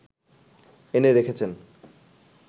এনে রেখেছেন